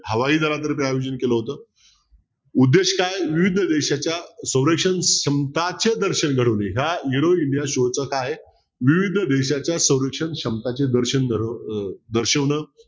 हवाई जहाजाचं आयोजन केलं होत. उद्देश काय विविध देशाच्या सौरक्षण क्षमतांचे दर्शन घडवले या aero india show च काय आहे विविध देशाच्या सौरक्षण क्षमतांचे दर्शन घडवणं दर्शवणं